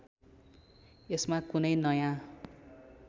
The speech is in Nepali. यसमा कुनै नयाँ